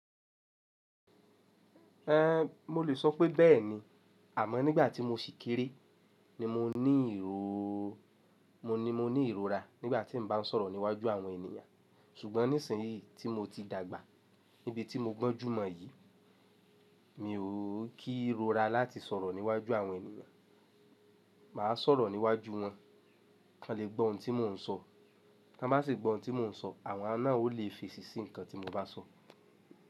Ẹhn, mo le sọ pé bẹ́ẹ̀ni. Àmọ́ nígbà tí mo sì kéré ni mo ní ìróó, mo ní mo ní ìrora nígbà tí n bá sọ̀rọ̀ níwájú àwọn ènìyàn. Ṣùgbọ́n nísinyí tí mo ti dàgbà, níbi tí mo gbọ́njúmọ̀ yìí, mi ò kí rora láti sọ̀rọ̀ níwájú àwọn ènìyàn. Màá sọ̀rọ̀ níwájú wọn, kan lè gbọ́ ohun tí mò ń sọ. Tan bá sì gbọ́ ohun tí mò ń sọ, àwọn náà o lè fi èṣì sí nǹkan tí mo bá sọ.